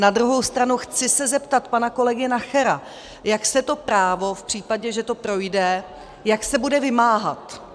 Na druhou stranu chci se zeptat pana kolegy Nachera, jak se to právo, v případě, že to projde, jak se bude vymáhat.